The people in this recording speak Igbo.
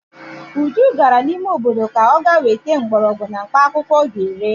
Uju gara n'obodo ka ọ ga-weta mgborogwu na mkpaakwụkwọ ọ ga-ere.